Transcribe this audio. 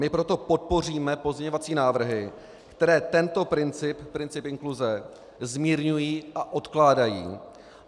My proto podpoříme pozměňovací návrhy, které tento princip, princip inkluze zmírňují a odkládají.